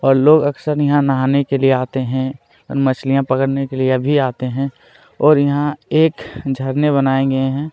और लोग अक्सर यहाँ लोग नहाने के लिए आते है और मछलियाँ पकड़ने के लिए भी आते है और यहाँ एक झरने बनाये गए है।